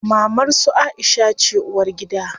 Mamar su Aisha ce uwargida.